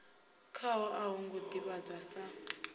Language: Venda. khaho a hongo ḓivhadzwa sa